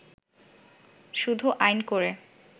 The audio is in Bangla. “ শুধু আইন করে